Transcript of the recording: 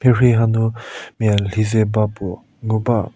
mhierhie hanu mia lhizeba puo nguba.